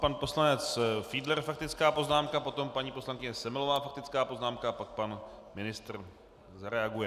Pan poslanec Fiedler faktická poznámka, potom paní poslankyně Semelová faktická poznámka, pak pan ministr zareaguje.